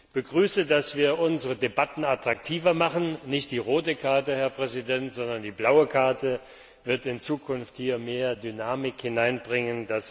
Ich begrüße, dass wir unsere Debatten attraktiver machen Nicht die rote Karte, Herr Präsident, sondern die blaue Karte wird in Zukunft hier mehr Dynamik hineinbringen.